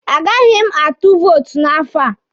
Agaghị m atụ vootu n'afọ a.